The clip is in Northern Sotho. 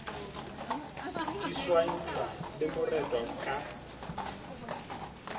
di swantšhwa le moretwa ka